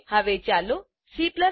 હવે ચાલો Cમાનું ડીઓ